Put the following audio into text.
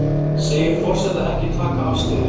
Segir forseta ekki taka afstöðu